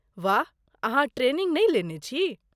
वाह ,अहाँ ट्रेनिंग नहि लेने छी?